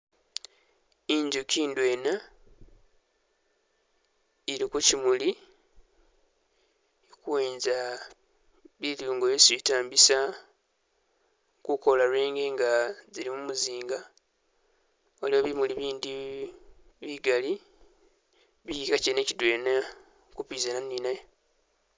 I'njuki ndwena, ili kushimuuli, ili kuwenza bilungo byeesi itaambisa kukola lwenge nga zili mumuzinga, waliwo bimuuli bindi bigali bilinga kyene kidwela kupizana ninaye.